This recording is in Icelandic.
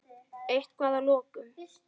Eitthvað að lokum?